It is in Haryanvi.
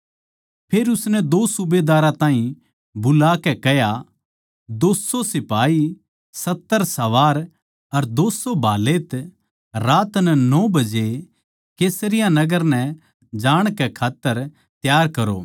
फेर उसनै दो सूबेदारां ताहीं बुलाकै कह्या दो सौ सिपाही सत्तर सवार अर दो सौ भालैत रात के नौ बजे कैसरिया नगर नै जाणकै खात्तर त्यार कर करो